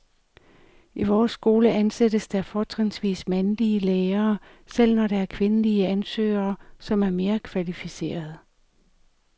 I vores skole ansættes der fortrinsvis mandlige lærere, selv når der er kvindelige ansøgere, som er mere kvalificerede.